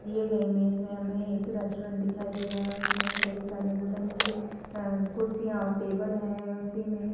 दिए गए इमेज में हमें एक रेस्टोरेंट दिखाई दे रहा है उसमे कोई सारे वुडन की आ कुर्सियाँ और टेबल हैं। उसी में --